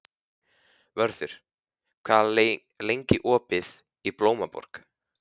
Vörður, hvað er lengi opið í Blómaborg?